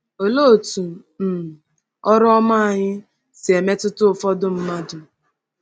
Olee otú um “ọrụ ọma” anyị si emetụta ụfọdụ mmadụ?